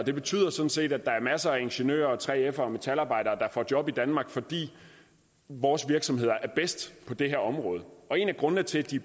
det betyder sådan set at der er masser af ingeniører og 3fere og metalarbejdere der får job i danmark fordi vores virksomheder er bedst på det her område og en af grundene til at de